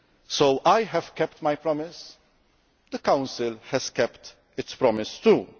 So I have kept my promise and the Council has kept its promise too.